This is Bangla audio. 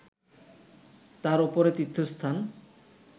তার উপরে তীর্থস্থান